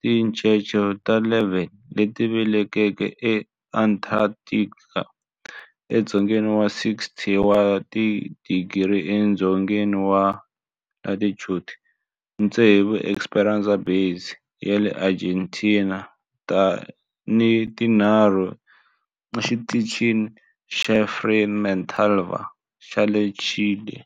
tincece ta 11 leti velekiweke eAntarctica, edzongeni wa 60 wa tidigri edzongeni wa latitude, tsevu eEsperanza Base ya le Argentina ni tinharhu eXitichini xa Frei Montalva xa le Chile.